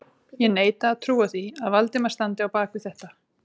Ég neita að trúa því, að Valdimar standi á bak við þetta